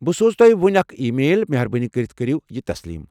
بہٕ سوز تۄہہ ؤنۍ اکھ ای میل۔ مہربٲنی کٔرتھ کٔرو یہ تسلیم ۔